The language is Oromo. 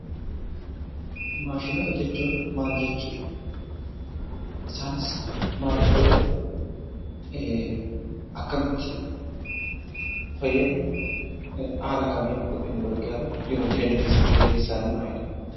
Maashinoota jechuun maal jechuu dha? Isaanis maaliif fayyadu? Akkamitti fayyadu? Haala kamiin nu gargaaru? Jiruu fi jireenya keessatti gaheen isaanii maalidha?